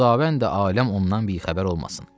Xudavənd aləm ondan bixəbər olmasın.